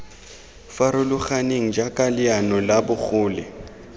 farologaneng jaaka leano la bogole